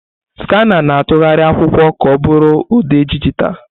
Skanà na-atụgharị akwụkwọ ka ọ bụrụ ụdị dijitalụ.